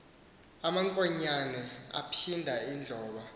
amankonyana aphinda adloba